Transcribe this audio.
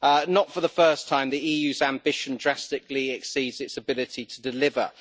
Not for the first time the EU's ambition drastically exceeds its ability to deliver.